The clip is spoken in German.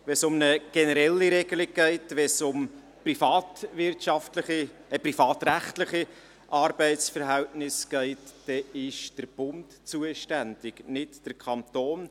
Wenn es um eine generelle Regelung geht, wenn es um privatrechtliche Arbeitsverhältnisse geht, dann ist der Bund zuständig, nicht der Kanton.